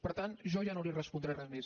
per tant jo ja no li respondré res més